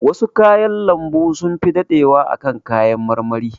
Wasu kayan lambun sunfi daɗewa a kan kayan marmari.